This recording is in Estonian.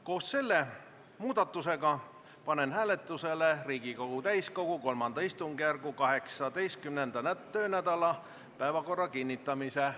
Koos selle muudatusega panen hääletusele Riigikogu täiskogu III istungjärgu 18. töönädala päevakorra kinnitamise.